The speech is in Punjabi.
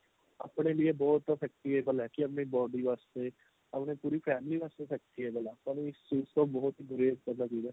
ਆਪਣੇ ਲੀਏ ਬਹੁਤ effectible ਏ ਕੀ ਆਪਣੀ body ਵਾਸਤੇ ਆਪਣੀ ਪੂਰੀ family ਵਾਸਤੇ effectible ਏ ਪਰ ਇਸ ਚੀਜ ਤੋਂ ਬਹੁਤ ਬੁਰੇ